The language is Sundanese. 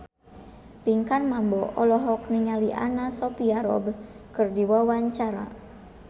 Pinkan Mambo olohok ningali Anna Sophia Robb keur diwawancara